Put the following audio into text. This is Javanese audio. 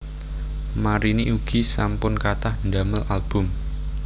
Marini ugi sampun kathah ndamel album